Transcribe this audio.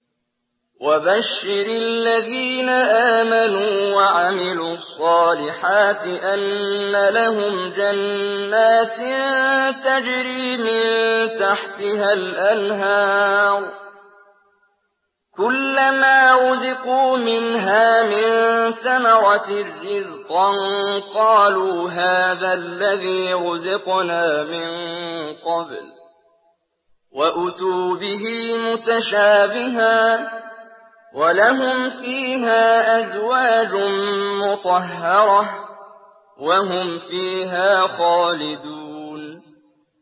وَبَشِّرِ الَّذِينَ آمَنُوا وَعَمِلُوا الصَّالِحَاتِ أَنَّ لَهُمْ جَنَّاتٍ تَجْرِي مِن تَحْتِهَا الْأَنْهَارُ ۖ كُلَّمَا رُزِقُوا مِنْهَا مِن ثَمَرَةٍ رِّزْقًا ۙ قَالُوا هَٰذَا الَّذِي رُزِقْنَا مِن قَبْلُ ۖ وَأُتُوا بِهِ مُتَشَابِهًا ۖ وَلَهُمْ فِيهَا أَزْوَاجٌ مُّطَهَّرَةٌ ۖ وَهُمْ فِيهَا خَالِدُونَ